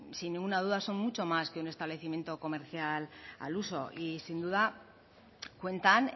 sin ninguna duda son mucho más que un establecimiento comercial al uso y sin duda cuentan